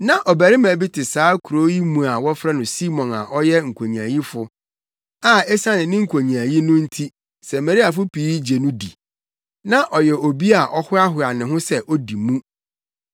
Na ɔbarima bi te saa kurow yi mu a wɔfrɛ no Simon a ɔyɛ nkonyaayifo a esiane ne nkonyaayi no nti Samariafo pii gye no di. Na ɔyɛ obi a ɔhoahoa ne ho sɛ odi mu.